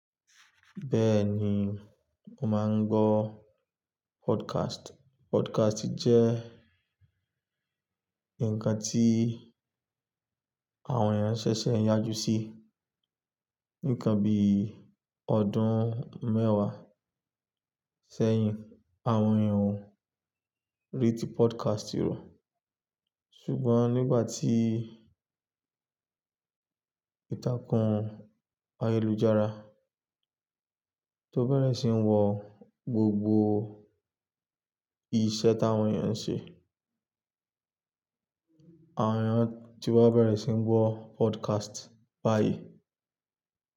Bẹ́ẹ̀ni, mo máa ń gbọ́ podcast. Podcast jẹ́ ǹkan tí àwọn èèyàn ṣẹ̀ṣẹ̀ ń yájú sí. Ní ìkanbi ọdún mẹ́wàá sẹ́yìn, àwọn èèyàn ò rí ti podcast rọ̀. Ṣùgbọ́n nígbà tí ìtàkùn ayélujára tó bẹ̀rẹ̀ sí ní wọ gbogbo iṣẹ́ táwọn èèyàn ń ṣe, àwọn èèyàn ti wá bẹ̀rẹ̀ sí ní gbọ́ podcast báyìí.